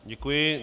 Děkuji.